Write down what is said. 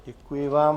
Děkuji vám.